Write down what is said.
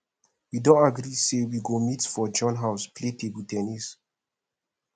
we don agree say we go meet for john house play table ten nis